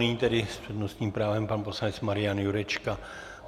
Nyní tedy s přednostním právem pan poslanec Marian Jurečka.